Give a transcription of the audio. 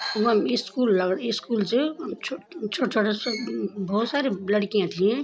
वम स्कूल लग स्कूल च छोट-छोटा सा भोत सारी लड़कियां थी।